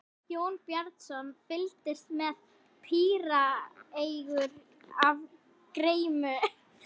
Jón Bjarnason fylgdist með píreygur af gremju.